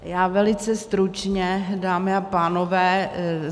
Já velice stručně, dámy a pánové.